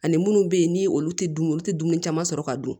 Ani munnu bɛ yen ni olu tɛ dumuni olu tɛ dumuni caman sɔrɔ ka dun